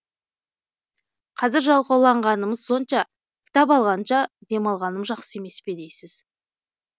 қазір жалқауланғанымыз сонша кітап алғанша демалғаным жақсы емес пе дейсіз